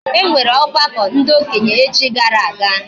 E nwere ogbako ndi okenye echi gara aga